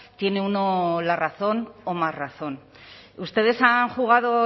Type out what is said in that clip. tiene uno la razón o más razón ustedes han jugado